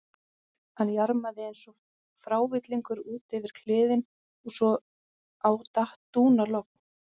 Hann jarmaði eins og frávillingur út yfir kliðinn svo á datt dúnalogn.